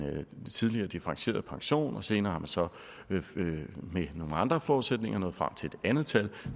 tidligere differentieret pension senere har man så med nogle andre forudsætninger nået frem til et andet tal